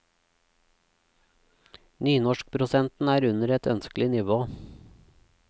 Nynorskprosenten er under et ønskelig nivå.